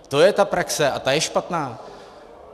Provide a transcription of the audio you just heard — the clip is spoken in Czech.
To je ta praxe a ta je špatná.